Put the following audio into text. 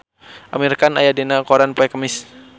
Amir Khan aya dina koran poe Kemis